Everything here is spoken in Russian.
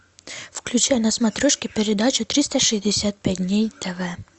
включай на смотрешке передачу триста шестьдесят пять дней тв